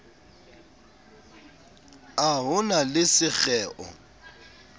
a ho na le sekgeo